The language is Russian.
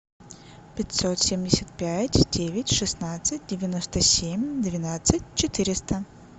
пятьсот семьдесят пять девять шестнадцать девяносто семь двенадцать четыреста